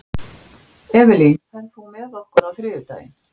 Evelyn, ferð þú með okkur á þriðjudaginn?